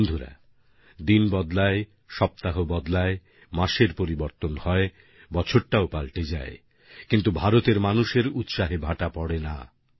বন্ধুরা দিন বদলায় সপ্তাহ বদলায় মাসের পরিবর্তন হয় বছরটাও পাল্টে যায় কিন্তু ভারতের মানুষের উৎসাহে ভাটা পড়ে না